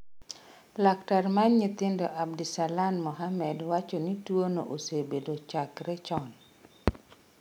Laktar mar nyithindo Abdisalan Mohammed wacho ni tuono osebedo chakre chon.